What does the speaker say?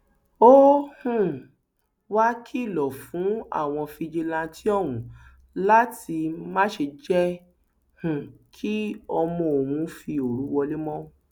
ó um wàá kìlọ fún àwọn fijilantàntẹ ọhún láti má ṣe jẹ um kí ọmọ òun fi òru wọlẹ mọ